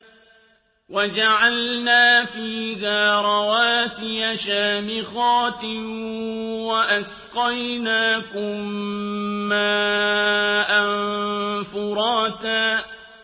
وَجَعَلْنَا فِيهَا رَوَاسِيَ شَامِخَاتٍ وَأَسْقَيْنَاكُم مَّاءً فُرَاتًا